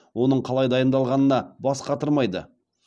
оның қалай дайындалғанына бас қатырмайды